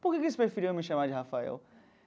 Por que que eles preferiam me chamar de Rafael?